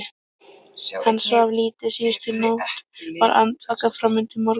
Hann svaf lítið síðustu nótt, var andvaka fram undir morgun.